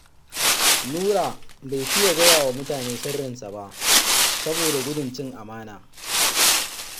Nura bai fiya gaya wa mutane sirrinsa ba saboda gudun cin amana